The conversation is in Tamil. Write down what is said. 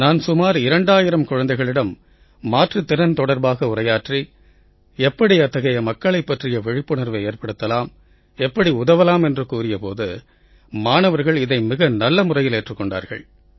நான் சுமார் 2000 குழந்தைகளிடம் மாற்றுத் திறன் தொடர்பாக உரையாற்றி எப்படி அத்தகைய மக்களைப் பற்றிய விழிப்புணர்வை ஏற்படுத்தலாம் எப்படி உதவலாம் என்று கூறிய போது மாணவர்கள் இதை மிக நல்ல முறையில் ஏற்றுக் கொண்டார்கள்